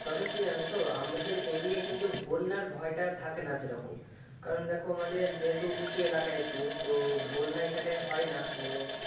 তবে কি আর হতো আমাদের এই দিকে কিন্তু বন্যার ভয়টা থাকে না সে রকম, কারণ দেখো আমাদের যেহেতু উঁচু এলাকা একটু তো বন্যা এখানটায় হয় না মানে,